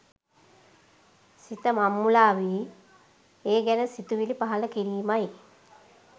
සිත මංමුලාවී ඒ ගැන සිතුවිලි පහළ කිරීමයි.